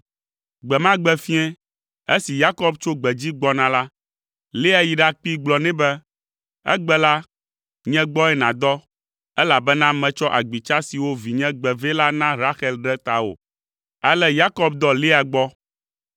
Gbe ma gbe fiẽ, esi Yakob tso gbedzi gbɔna la, Lea yi ɖakpee, gblɔ nɛ be, “Egbe la, nye gbɔe nàdɔ, elabena metsɔ agbitsa siwo vinye gbe vɛ la na Rahel ɖe tawò!” Ale Yakob dɔ Lea gbɔ.